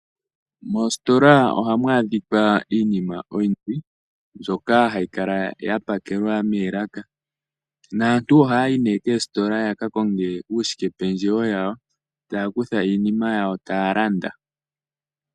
Mositola ohamu a dhika iinima oyindji mbyoka hayi kala ya pakelwa moolaka, naantu ohaya yi nee koositola yaka konge uukwashikependjewo wa wo, taya kutha iinima ya wo taya landa.